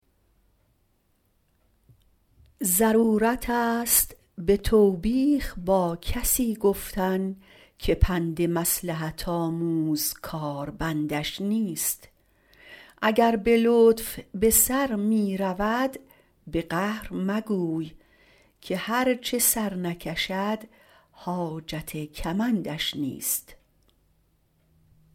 ضرورتست به توبیخ با کسی گفتن که پند مصلحت آموز کاربندش نیست اگر به لطف به سر می رود به قهر مگوی که هر چه سر نکشد حاجت کمندش نیست